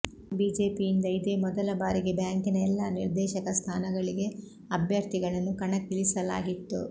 ಬಿಜೆಪಿಯಿಂದ ಇದೆ ಮೊದಲ ಬಾರಿಗೆ ಬ್ಯಾಂಕಿನ ಎಲ್ಲಾ ನಿರ್ಧೇಶಕ ಸ್ಥಾನಗಳಿಗೆ ಅಭ್ಯರ್ಥಿಗಳನ್ನು ಕಣಕ್ಕಿಳಿಸಲಾಗಿತ್ತು